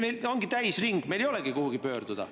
Meil ongi täisring, meil ei olegi kuhugi pöörduda.